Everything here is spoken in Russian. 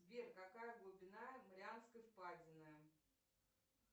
сбер какая глубина марианской впадины